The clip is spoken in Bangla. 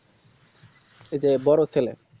ওই তো বড়ো ছেলে